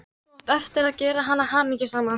Þú átt eftir að gera hana hamingjusama.